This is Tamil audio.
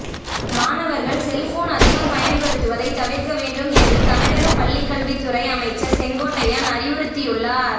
மாணவர்கள் செல்போன் அதிகம் பயன்படுத்துவதை தவிர்க்க வேண்டும் என்று தமிழக பள்ளிக்கல்வித்துறை அமைச்சர் செங்கோட்டையன் அறிவுறுத்தியுள்ளார்